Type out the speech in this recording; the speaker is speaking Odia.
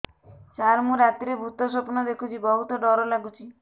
ସାର ମୁ ରାତିରେ ଭୁତ ସ୍ୱପ୍ନ ଦେଖୁଚି ବହୁତ ଡର ଲାଗୁଚି